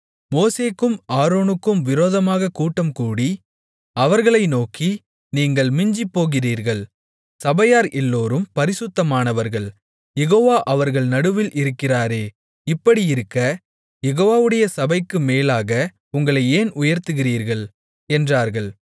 மோசேக்கும் ஆரோனுக்கும் விரோதமாகக் கூட்டம்கூடி அவர்களை நோக்கி நீங்கள் மிஞ்சிப்போகிறீர்கள் சபையார் எல்லோரும் பரிசுத்தமானவர்கள் யெகோவா அவர்கள் நடுவில் இருக்கிறாரே இப்படியிருக்க யெகோவாவுடைய சபைக்கு மேலாக உங்களை ஏன் உயர்த்துகிறீர்கள் என்றார்கள்